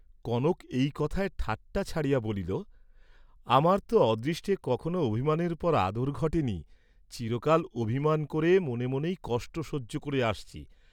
কনক এই কথায় ঠাট্টা ছাড়িয়া বলিল, "আমার তো অদৃষ্টে কখনো অভিমানের পর আদর ঘটেনি, চিরকাল অভিমান করে মনে মনেই কষ্ট সহ্য করে আসছি।"